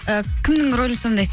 і кімнің рөлін сомдайсыз